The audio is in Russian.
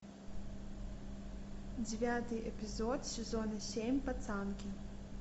девятый эпизод сезона семь пацанки